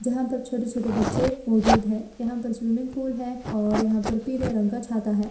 जहाँ पर छोटे-छोटे बच्चे मौजूद है। यहाँ पर स्विमिंग पूल है और यहाँ पर पीले रंग का छाता है।